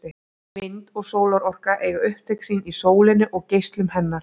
Vind- og sólarorka eiga upptök sín í sólinni og geislum hennar.